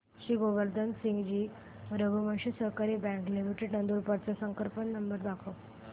श्री गोवर्धन सिंगजी रघुवंशी सहकारी bank limited Nandurbar चा संपर्क नंबर सांगा